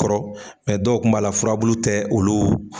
Kɔrɔ dɔw kun b'a la furabulu tɛ olu.